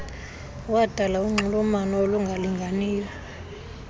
wadala unxulumano olungalinganiyo